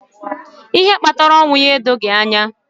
Ihe kpatara ọnwụ ya edoghi anyị anya.